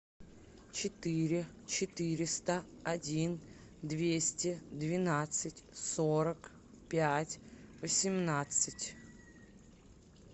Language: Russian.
четыре четыреста один двести двенадцать сорок пять восемнадцать